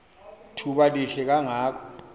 thuba lihle kangako